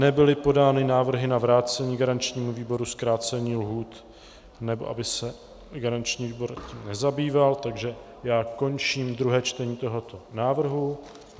Nebyly podány návrhy na vrácení garančnímu výboru zkrácení lhůt, nebo aby se garanční výbor tím nezabýval, takže já končím druhé čtení tohoto návrhu.